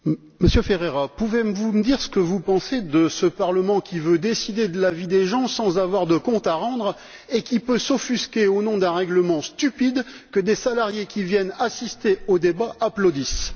M. Ferreira, pouvez vous me dire ce que vous pensez de ce Parlement qui veut décider de la vie des gens sans avoir de comptes à rendre et qui peut s'offusquer, au nom d'un règlement stupide, que des salariés, qui viennent assister au débat, applaudissent